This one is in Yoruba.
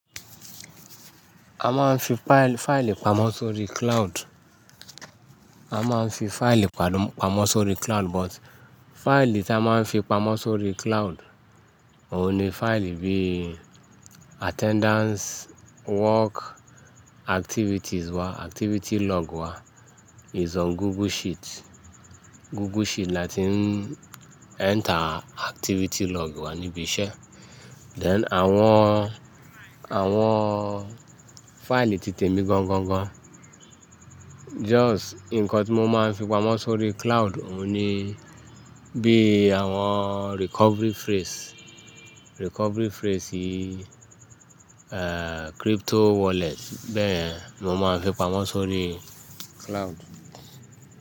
A máa ń fi fáìlì pamọ́ sórí cloud. A máa ń fi fáìlì pàdà pamọ́ sórí cloud, but fáìlì tí a máa ń fi pamọ́ sórí cloud òun ni fáìlì bí attendance work activities wa, activity log wa is on Google Sheet. Google Sheet la tí ń enter activity log wa níbi iṣẹ́. Then àwọn, àwọn fáìlì ti tèmi gan gan gan. Just nǹkan tí mo máa ń fi pamọ́ sórí cloud òun ni bí àwọn recovery phrase, recovery phrase yí crypto wallet bẹ́ẹ̀ ni mo máa ń fi pamọ́ sórí cloud.